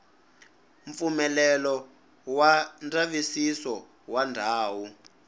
mpfumelelo wa ndzavisiso wa ndhawu